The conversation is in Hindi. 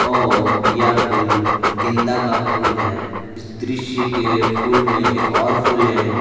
और यह फूल गेंदा का फूल हैइस दृश्य के फूल में एक और फूल है।